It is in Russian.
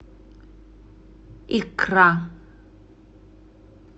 икра